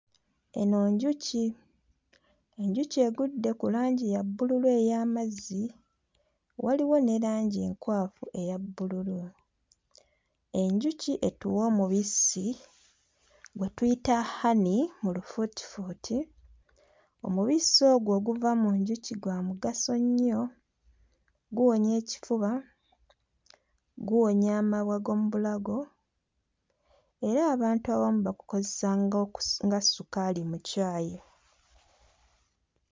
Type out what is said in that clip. Eno njuki, enjuki egudde ku langi ya bbululu ey'amazzi, waliwo ne langi enkwafu eya bbululu. Enjuki etuwa omubisi gwe tuyita honey mu lufuutifuuti. Omubisi ogwo oguva mu njuki gwa mugaso nnyo; guwonya ekifuba, guwonya amabwa g'omu bulago era abantu abamu bagukozesa ng'oku... nga sukaali mu caayi.